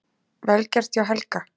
Vel gert hjá Helga!